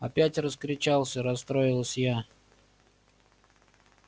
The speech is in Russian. опять раскричался расстроилась я